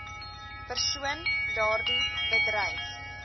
persoon daardie bedryf